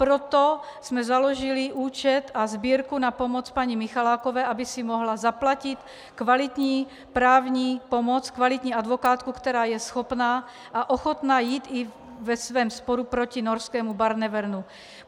Proto jsme založili účet a sbírku na pomoc paní Michalákové, aby si mohla zaplatit kvalitní právní pomoc, kvalitní advokátku, která je schopna a ochotna jít i ve svém sporu proti norskému Barnevernu.